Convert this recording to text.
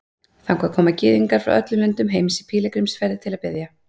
Þangað koma Gyðingar frá öllum löndum heims í pílagrímsferðir til að biðja.